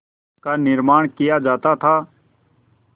का निर्माण किया जाता था